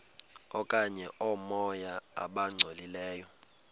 okanye oomoya abangcolileyo